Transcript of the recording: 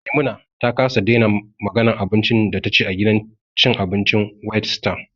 Maimuna ta kasa daina maganan abincin da taci a gidan cin abincin whitestar